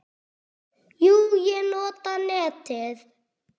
Jú, ég nota netið.